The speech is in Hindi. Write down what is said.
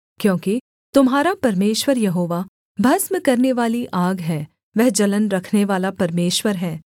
क्योंकि तुम्हारा परमेश्वर यहोवा भस्म करनेवाली आग है वह जलन रखनेवाला परमेश्वर है